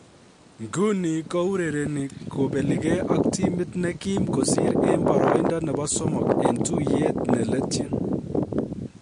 Nguni kourereni kobelige ak timit ne kim kosir en boroindo nebo somok en tuiyet ne letyin.